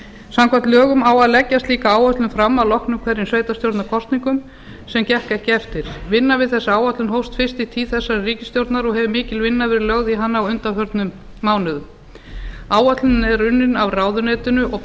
samkvæmt lögum á að leggja slíka áætlun fram að loknum hverjum sveitarstjórnarkosningum sem gekk ekki eftir vinna við þessa áætlun hófst fyrst í tíð þessarar ríkisstjórnar og hefur mikil vinna verið lögð í hana á undanförnum mánuðum áætlunin er unnin af ráðuneytinu og